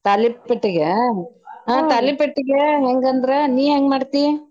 ತಾಲಿಪಟ್ಟಿಗೆ ನಾ ತಾಲಿಪಟ್ಟಿಗೆ ಹೆಂಗ ಅಂದ್ರ ನೀ ಹೆಂಗ ಮಾಡ್ತಿ?